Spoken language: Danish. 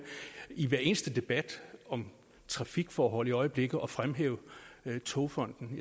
i hver eneste debat om trafikforhold i øjeblikket at fremhæve togfonden